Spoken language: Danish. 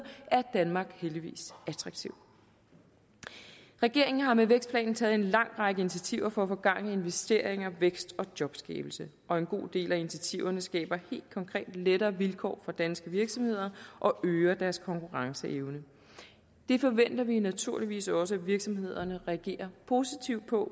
er danmark heldigvis attraktivt regeringen har med vækstplanen taget en lang række initiativer for at få gang i investeringer vækst og jobskabelse og en god del af initiativerne skaber helt konkret lettere vilkår for danske virksomheder og øger deres konkurrenceevne det forventer vi naturligvis også at virksomhederne reagerer positivt på